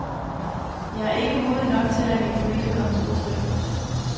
Jeg er ikke modig nok til at lade mine følelser komme til udtryk.